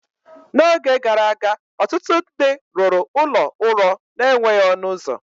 N’oge gara aga, ọtụtụ ndị rụrụ ụlọ ụrọ na-enweghị ọnụ ụzọ.